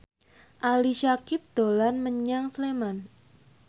Ali Syakieb dolan menyang Sleman